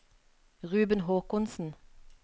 Ruben Håkonsen